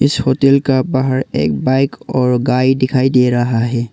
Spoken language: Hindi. इस होटल का बाहर एक बाइक और गाये दिखाई दे रहा है।